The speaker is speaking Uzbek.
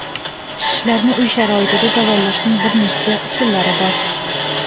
Shishlarni uy sharoitida davolashning bir nechta usullari bor.